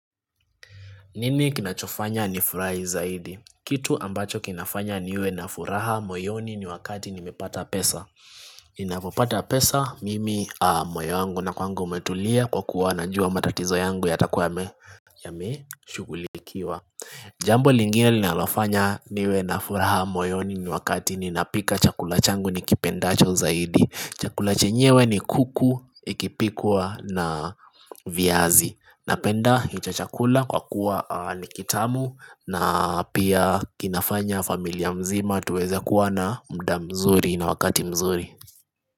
Nini kinachofanya ni furahi zaidi? Kitu ambacho kinafanya niwe na furaha moyoni ni wakati nimepata pesa. Inapopata pesa mimi moyo wangu na kwangu umetulia kwa kuwa na jua matatizo yangu yatakuwa yameshughulikiwa. Jambo lingine linalofanya niwe na furaha moyoni ni wakati ninapika chakula changu nikipendacho zaidi. Chakula chenyewe ni kuku ikipikwa na viazi. Napenda hicho chakula kwa kuwa nikitamu na pia kinafanya familia mzima tuweza kuwa na muda mzuri na wakati mzuri.